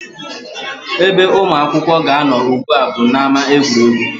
Ebe ụmụ akwụkwọ ga-anọ ugbu a bụ n'ámá egwuregwu